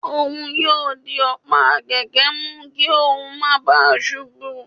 òun yóò dì ọ̀pá kẹkẹ mú kí óún má ​​bàa ṣubú